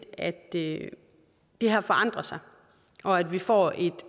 at det det her forandrer sig og at vi får et